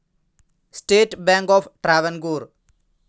state bank of Travancore